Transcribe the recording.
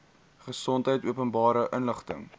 gesondheid openbare inligting